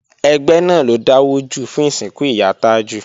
Ẹgbẹ́ náà ló dáwọ́ jọ fún ìsìnkú ìyá Tájù